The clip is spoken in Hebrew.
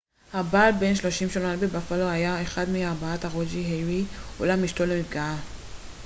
הבעל בן 30 שנולד בבאפלו היה אחד מארבעת הרוגי הירי אולם אשתו לא נפגעה